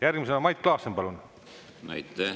Järgmisena Mait Klaassen, palun!